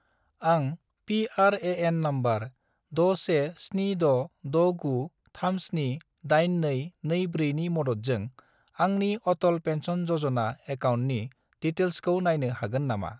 आं PRAN. Number 617669378224 नि मददजों आंनि अटल पेन्सन य'जना एकाउन्टनि डिटेइल्सखौ नायनो हागोन नामा?